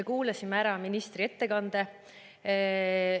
Me kuulasime ära ministri ettekande.